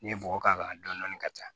N'i ye bɔgɔ k'a kan dɔɔnin dɔɔnin ka taa